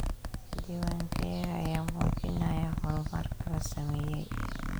Diiwaankayaga ayaa muujinaya horumarka la sameeyay.